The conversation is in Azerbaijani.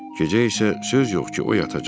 Gecə isə söz yox ki, o yatacaq.